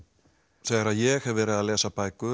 þegar ég hef verið að lesa bækur